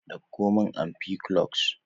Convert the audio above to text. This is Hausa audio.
Dauko min ampiclox.